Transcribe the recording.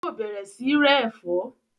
Yóò bẹ̀rẹ̀ sí rẹ ẹ̀fọ́